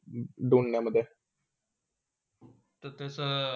धुंदन्या मधे ते तसा.